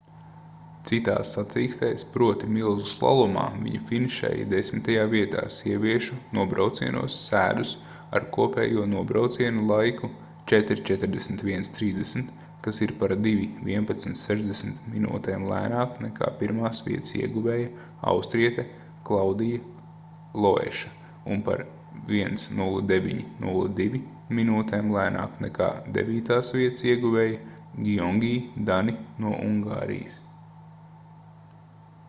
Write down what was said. citās sacīkstēs proti milzu slalomā viņa finišēja desmitajā vietā sieviešu nobraucienos sēdus ar kopējo nobraucienu laiku 4:41.30 kas ir par 2:11.60 minūtēm lēnāk nekā pirmās vietas ieguvēja austriete klaudija loeša un par 1:09.02 minūtēm lēnāk nekā devītās vietas ieguvēja giongi dani no ungārijas